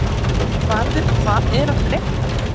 Þjóðvarður, hvað er að frétta?